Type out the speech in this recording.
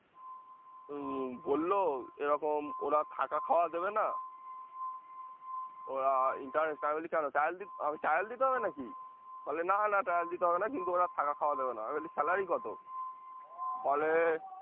উম বললো ওরা থাকা খাওয়া দেবে না ওরা interest আমি বলি কেন trial আমি trial দিতে হবে না কি? বলে না না trial দিতে হবে না কিন্তু ওরা থাকা খাওয়া দেবে না, আমি বলি salary কত? বলে